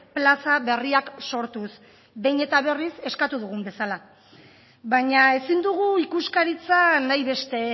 plaza berriak sortuz behin eta berriz eskatu dugun bezala baina ezin dugu ikuskaritza nahi beste